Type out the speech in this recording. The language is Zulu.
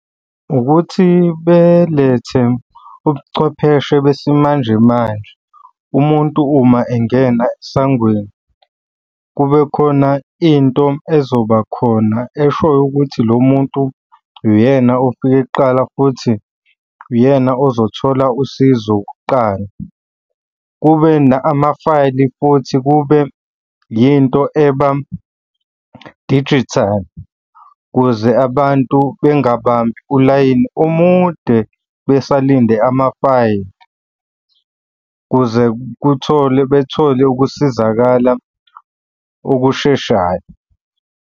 Ukuthi belethe ubuchwepheshe besimanje manje. Umuntu uma engena esangweni kube khona into ezoba khona eshoyo ukuthi lo muntu uyena ofike kuqala, futhi uyena ozothola usizo kuqala. Kube ama-file futhi kube yinto eba-digital ukuze abantu bengabambi ulayini omude besalinde ama-file ukuze kuthole bethole ukusizakala okusheshayo.